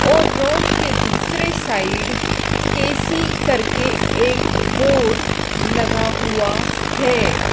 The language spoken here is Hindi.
और रोड के दूसरे साइड के_सी करके एक बोर्ड लगा हुआ है।